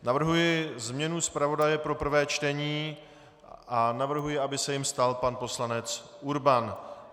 Navrhuji změnu zpravodaje pro prvé čtení a navrhuji, aby se jím stal pan poslanec Urban.